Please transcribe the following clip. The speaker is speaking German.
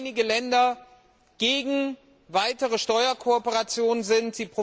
Weil einige Länder gegen weitere Steuerkooperation sind.